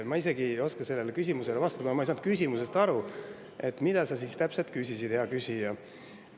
Ma isegi ei oska sellele küsimusele vastata, kuna ma ei saanud aru, mida sa siis täpselt küsisid, hea küsija.